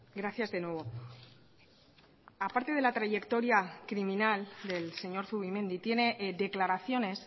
gracias de nuevo aparte de la trayectoria criminal del señor zubimendi tiene declaraciones